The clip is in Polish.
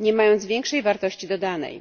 nie mając większej wartości dodanej.